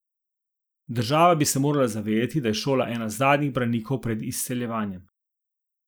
Država bi se morala zavedati, da je šola ena zadnjih branikov pred izseljevanjem.